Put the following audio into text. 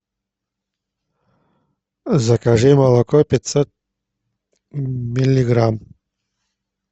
закажи молоко пятьсот миллиграмм